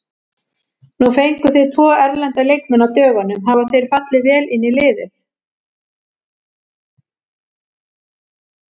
Nú fenguð þið tvo erlenda leikmenn á dögunum, hafa þeir fallið vel inn í liðið?